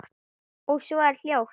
Og svo er hljótt.